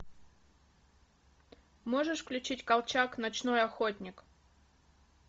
можешь включить колчак ночной охотник